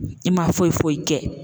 I man foyi foyi kɛ.